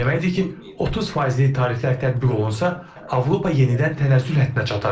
Bu o deməkdir ki, 30 faizli tariflər tətbiq olunsa, Avropa yenidən tənəzzül həddinə çatar.